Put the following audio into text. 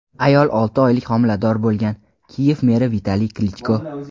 ayol olti oylik homilador bo‘lgan – Kiyev meri Vitaliy Klichko.